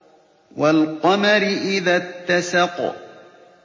وَالْقَمَرِ إِذَا اتَّسَقَ